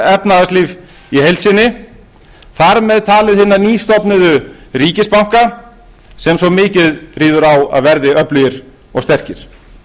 efnahagslíf í heild sinni og þar með talið hina nýstofnuðu ríkisbanka sem svo mikið ríður á að verði öflugir og sterkir